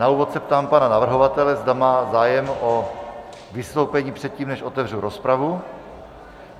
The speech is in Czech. Na úvod se ptám pana navrhovatele, zda má zájem o vystoupení předtím, než otevřu rozpravu.